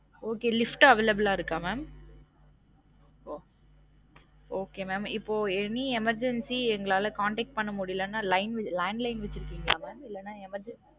Okay lift available ஆ இருக்கா mam? ஒ okay mam இப்போ any emergency எங்களால contact பண்ண முடியலேன்ன line landline வச்சிருகிங்களா mam இல்லன emergency